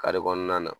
Kare kɔnɔna na